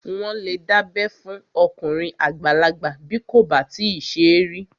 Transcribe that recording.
Wọ́n lè dábẹ́ fún okùnrin àgbàlagbà bí kò bá tíì ṣe rí